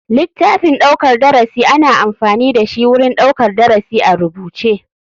Litaffin ɗaukar darasi ana amfani dashi wurin ɗaukar darasi a rubuce.